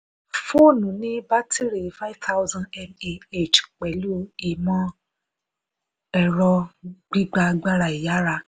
fóònù ní bátìrì five thousand mah pẹ̀lú ìmọ̀-ẹrọ gbigba agbára ìyára.